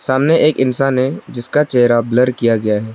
सामने एक इंसान है जिसका चेहरा ब्लर किया गया है।